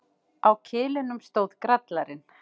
Á kilinum stóð Grallarinn.